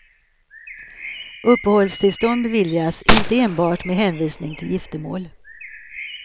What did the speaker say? Uppehållstillstånd beviljas inte enbart med hänvisning till giftermål.